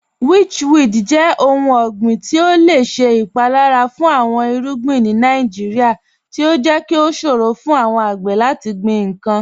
Witchweed jẹ ọ̀hùn ọ̀gbiǹ ti o lẹ ṣẹ ipalara fun awọn irugbin ni Nàìjíríà, ti o jẹ́ kí o ṣòro fun awọn agbè lati gbin nkan.